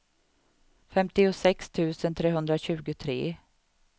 femtiosex tusen trehundratjugotre